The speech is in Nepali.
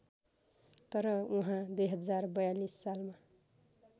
तर उहाँ २०४२ सालमा